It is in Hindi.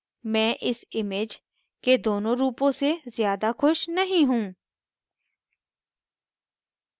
मैं इस image के दोनों रूपों से ज़्यादा ख़ुश नहीं हूँ